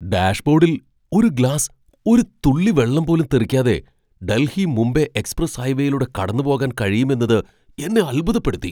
ഡാഷ്ബോഡിൽ ഒരു ഗ്ലാസ് ഒരു തുള്ളി വെള്ളം പോലും തെറിക്കാതെ ഡൽഹി മുംബൈ എക്സ്പ്രസ് ഹൈവേയിലൂടെ കടന്നുപോകാൻ കഴിയുമെന്നത് എന്നെ അത്ഭുതപ്പെടുത്തി.